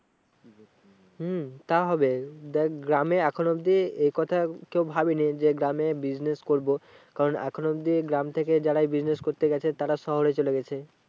উম তা হবে। দেখ গ্রামে এখন অবধি এই কথা কেউ ভাবেনি যে গ্রামে business করবো। কারণ এখনো অবধি গ্রাম থেকে যারাই business করতে গেছে তারা শহরে চলে গেছে।